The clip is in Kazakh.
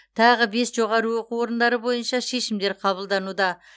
тағы бес жоғары оқу орындары бойынша шешімдер қабылдануда